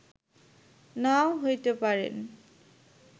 নাও হইতে পারেন